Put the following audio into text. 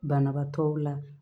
Banabaatɔw la